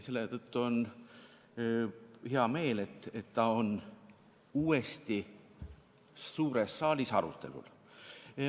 Selle tõttu on mul hea meel, et ta on uuesti suures saalis arutelul.